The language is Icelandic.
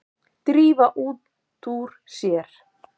Drífa út úr sér.